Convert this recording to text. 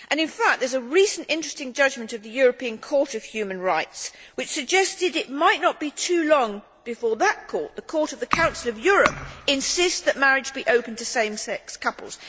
In fact, a recent interesting judgment of the European Court of Human Rights suggested it might not be too long before that Court the Court of the Council of Europe insists that marriage be open to same sex couples.